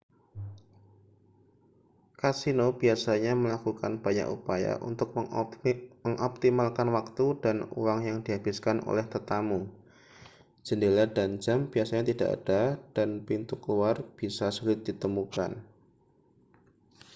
kasino biasanya melakukan banyak upaya untuk mengoptimalkan waktu dan uang yang dihabiskan oleh tetamu jendela dan jam biasanya tidak ada dan pintu keluar bisa sulit ditemukan